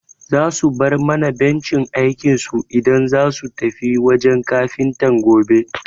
Za su bar mana bencin aikinsu idan zasu tafi wajen Kafintan gobe.